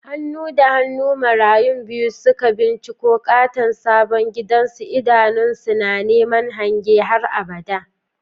Hannu da hannu marayun biyu suka binciko katon sabon gidansu, idanunsu na neman hange na har abada.